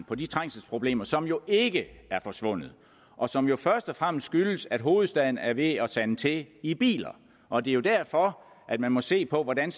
på de trængselsproblemer som jo ikke er forsvundet og som jo først og fremmest skyldes at hovedstaden er ved at sande til i biler og det er jo derfor man må se på hvordan